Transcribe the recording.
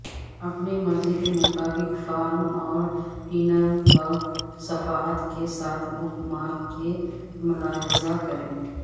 اپنی مرضی کے مطابق فارم اور پنروک صفحات کے ساتھ بک مارک کے ملاحظہ کریں